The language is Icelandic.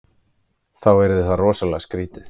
Þá yrði það rosalega skrítið.